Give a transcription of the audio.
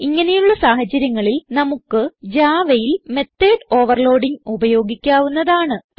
ഇങ്ങനെയുള്ള സാഹചര്യങ്ങളിൽ നമുക്ക് javaയിൽ മെത്തോട് ഓവർലോഡിങ് ഉപയോഗിക്കാവുന്നതാണ്